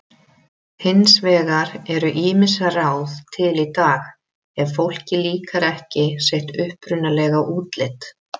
Hins vegar eru ýmis ráð til í dag ef fólki líkar ekki sitt upprunalega útlit.